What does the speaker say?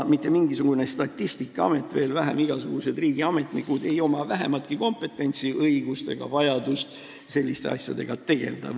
Mitte mingisugune Statistikaamet, veel vähem igasugused riigiametnikud ei oma vähimatki kompetentsi ega õigust selliste asjadega tegelda.